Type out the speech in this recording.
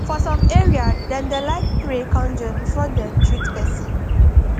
for some area dem da like pray conjur before dem treat person